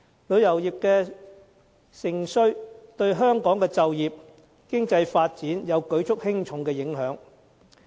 旅遊業的盛衰對香港的就業和經濟發展，有着舉足輕重的影響。